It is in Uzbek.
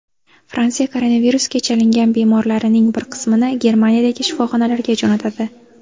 Fransiya koronavirusga chalingan bemorlarining bir qismini Germaniyadagi shifoxonalarga jo‘natadi.